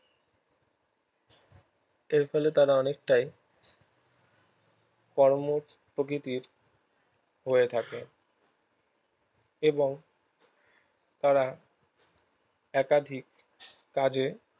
এর ফলে তারা অনেক টাই কর্ম প্রকৃতির হয়ে থাকে এবং তারা একাধিক কাজে